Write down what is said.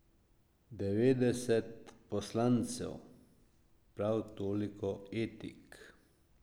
Devetdeset poslancev, prav toliko etik.